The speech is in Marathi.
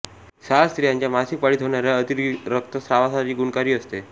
साल स्त्रियांच्या मासिक पाळीत होणाऱ्या अतिरक्तस्रावासाठी गुणकारी असते